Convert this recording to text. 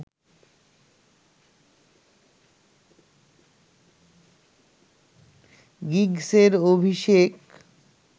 গিগসের অভিষেক